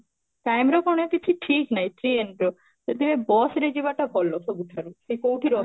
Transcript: time ର କିଛି ଏମିତି ଠିକ ନାହିଁ ଯଦି bus ରେ ଯିବାଟା ଭଲ ସବୁଠାରୁ ସେ କୋଉଠି ର